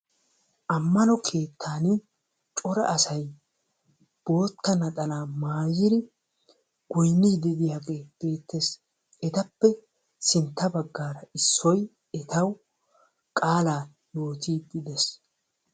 Ammano keettan cora asay bootta naxalaa maayyidi goynnide diyaagee beettees. Etappe sintta baggaara issoy etaw qaala yoottide de'ees.